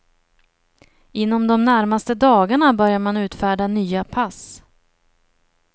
Inom de närmaste dagarna börjar man utfärda nya pass.